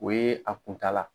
O ye a kuntala.